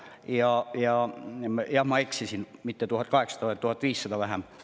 Jah, ma eksisin enne – edaspidi ei ole mitte 1800, vaid on 1500 vähem.